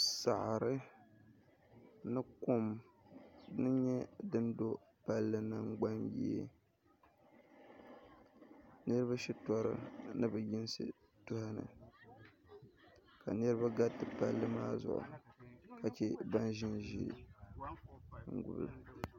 saɣiri ni kom dini n-nyɛ din do palli nangbanyee niriba shitɔri ni bɛ yinsi beni ka niriba gariti palli maa zuɣu ka che ban ʒi n-ʒi n gula